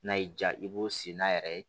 N'a y'i diya i b'o sen n'a yɛrɛ ye